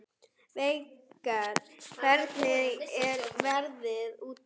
Veigar, hvernig er veðrið úti?